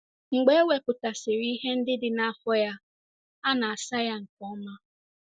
Mgbe e wepụtasịrị ihe ndị dị n’afọ ya, a na - asa ya nke ọma.